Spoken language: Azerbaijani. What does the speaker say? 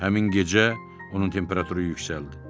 Həmin gecə onun temperaturu yüksəldi.